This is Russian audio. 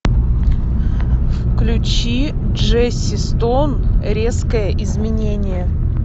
включи джесси стоун резкое изменение